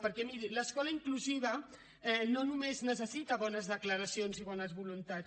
perquè miri l’escola inclusiva no només necessita bones declaracions i bones voluntats